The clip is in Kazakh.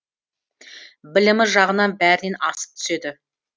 білімі жағынан бәрінен асып түседі